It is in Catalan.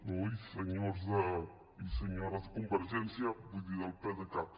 oi senyors i senyores de convergència vull dir del pdecat